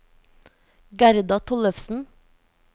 Gerda Tollefsen